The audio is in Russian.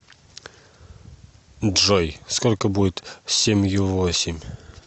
джой сколько будет семью восемь